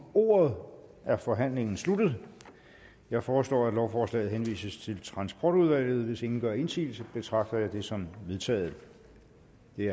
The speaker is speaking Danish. ordet er forhandlingen sluttet jeg foreslår at lovforslaget henvises til transportudvalget hvis ingen gør indsigelse betragter jeg det som vedtaget det er